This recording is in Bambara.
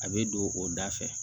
A bɛ don o da fɛ